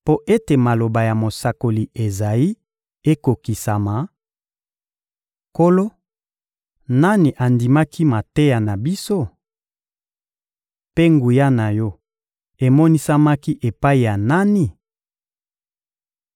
mpo ete maloba ya mosakoli Ezayi ekokisama: «Nkolo, nani andimaki mateya na biso? Mpe nguya na Yo emonisamaki epai ya nani?»